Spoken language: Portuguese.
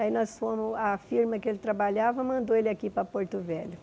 Aí nós fomos, a firma que ele trabalhava mandou ele aqui para Porto Velho.